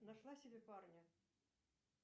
нашла себе парня